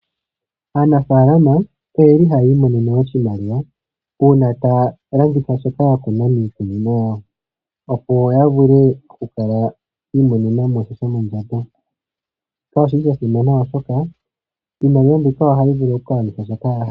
Aanafaalama oyeli haya imonene oshimaliwa uuna taya landitha shoka yakuna miikunino yawo, opo yavule okukala yiimonena mo shomondjato, shika oshili shasimana oshoka iimaliwa mbika ohayi vulu okugwanitha shoka yahala.